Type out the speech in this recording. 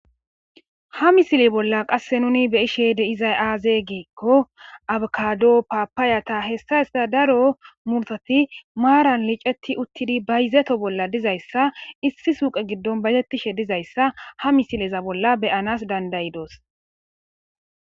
Ha misile bolla qasse nuni be ishe de izay aaze giikko abkado paapaayata hessa isita daro murtati maaran liceti uttidi bayizeto bolla dizayssa issi suuqe giddon bayettishe dizayssa ha misileza bolla beyanas dandayidoos.